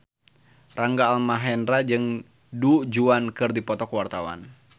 Rangga Almahendra jeung Du Juan keur dipoto ku wartawan